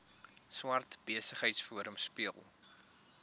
swart besigheidsforum speel